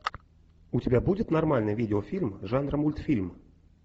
у тебя будет нормальный видеофильм жанра мультфильм